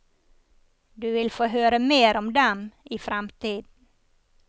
Du vil få høre mer om dem i fremtiden.